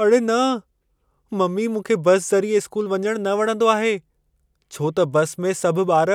अड़े न! ममी मूंखे बस ज़रिए स्कूल वञण न वणंदो आहे। छो त बस में सभ ॿार